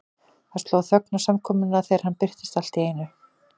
Það sló þögn á samkomuna þegar hann birtist allt í einu.